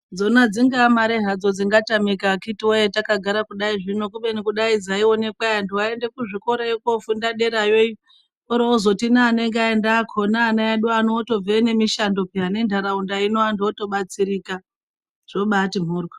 Dzona dzingaa mare hadzo dzingatamika akiti voye takagara kudai zvino. Kubeni kudai dzaionekwa ee antu aiende kuzvikorayo kofunda derayo, oro ozoti neanenga aenda akona ana edu otobveyo nemishando peya nentaraunda ino antu otobatsirika zvobati mhoryo.